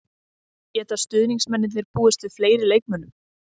Geta stuðningsmennirnir búist við fleiri leikmönnum?